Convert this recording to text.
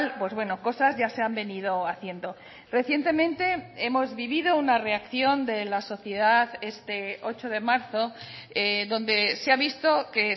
pues bueno cosas ya se han venido haciendo recientemente hemos vivido una reacción de la sociedad este ocho de marzo donde se ha visto que